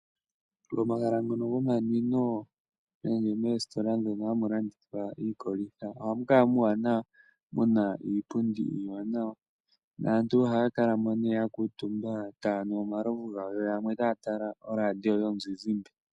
Momahala ngono gomanwino nenge meesitola mono hamulandithwa iikolitha ohamukala muuwanawa muna iipundi iiwanawa. Naantu ohaakalamo nee yakuutumba taanu omalovu gawo yo yamwe taatala oradio yomuzizimbe.